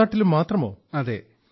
only Kerala and Tamil Nadu